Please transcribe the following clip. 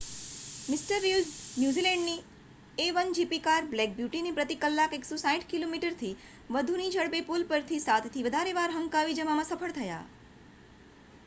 મિ Reed ન્યૂઝીલૅન્ડની A one GP car Black બ્યૂટીને પ્રતિ કલાક 160 કિમિથી વધુની ઝડપે પૂલ પરથી સાતથી વધારે વાર હંકારી જવામાં સફળ થયા